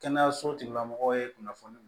Kɛnɛyaso tigila mɔgɔw ye kunnafoni